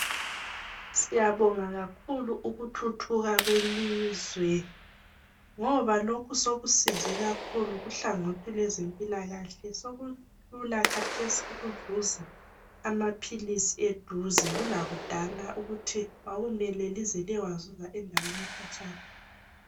Siyabonga kakhulu ukuthuthuka kwelizwe ngoba lokhu sekusize kakhulu kuhlangothi lwezempilakahle. Sokulula khathesi ukuzuza amaphilisi eduze kulakudala ukuthi kwakumele lize liyewazuza endaweni ekhatshana.